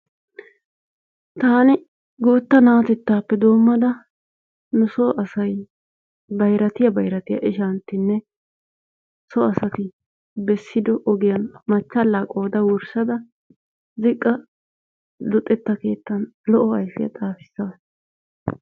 Taani guutta naatettaappe doomada nu soo asay bayrattiya bayrattiya ishantinne so asati besido ogiyan machalaa qooda wursada ziqqa luxetta keettaan lo"o ayfiyaa xaafisaas.